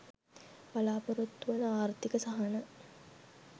බලාපොරොත්තු වන ආර්ථික සහන